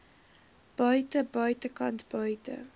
buite buitekant buite